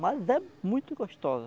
Mas é muito gostosa.